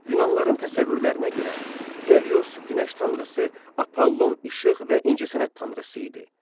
Yunanlıların təsəvvürlərinə görə Helios günəş tanrısı, Apollon işıq və incəsənət tanrısı idi.